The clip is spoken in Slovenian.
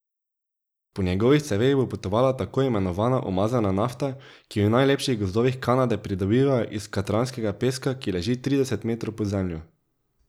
Po njegovih ceveh bo potovala tako imenovana umazana nafta, ki jo v najlepših gozdovih Kanade pridobivajo iz katranskega peska, ki leži trideset metrov pod zemljo.